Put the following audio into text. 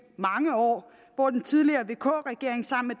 mange år hvor den tidligere vk regering sammen